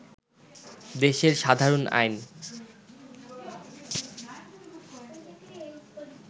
দেশের সাধারণ আইন